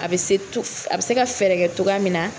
A bɛ se A bɛ se ka fɛɛrɛ kɛ togoya min na.